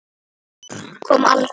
En svarið kom aldrei.